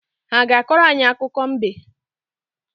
Ha ga-akọrọ anyị akụkọ mbe?